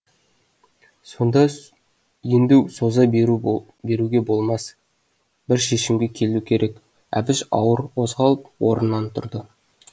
енді соза беруге болмас бір шешімге келу керек әбіш ауыр қозғалып орнынан тұрды